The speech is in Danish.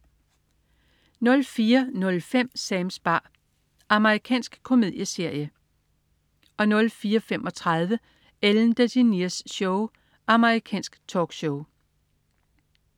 04.05 Sams bar. Amerikansk komedieserie 04.35 Ellen DeGeneres Show. Amerikansk talkshow